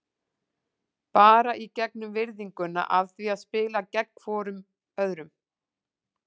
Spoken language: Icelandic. Bara í gegnum virðinguna af því að spila gegn hvorum öðrum.